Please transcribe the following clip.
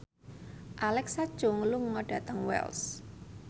Alexa Chung lunga dhateng Wells